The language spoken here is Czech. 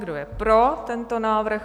Kdo je pro tento návrh?